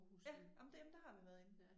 Ja ej men det men der har vi været inde